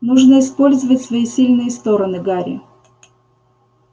нужно использовать свои сильные стороны гарри